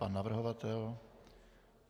Pan navrhovatel.